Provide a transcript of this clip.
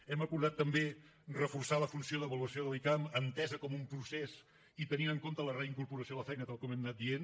hem acordat també reforçar la funció d’avaluació de l’icam entesa com un procés i tenint en compte la reincorporació a la feina tal com hem anat dient